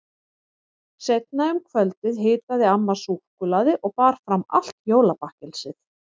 Seinna um kvöldið hitaði amma súkkulaði og bar fram allt jólabakkelsið.